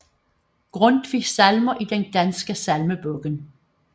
Grundtvig Salmer i Den Danske Salmebog